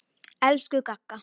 Elsku Gagga.